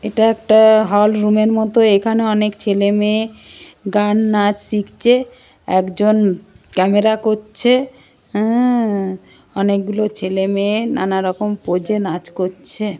এটা একটা hall room -এর মতো এখানে অনেক ছেলে মেয়ে গান নাচ শিখছে একজন ক্যামেরা করছে আ আ আ অনেকগুলো ছেলে মেয়ে নানা রকম পোজ এ নাচ করছে।